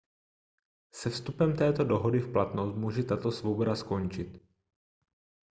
se vstupem této dohody v platnost může tato svoboda skončit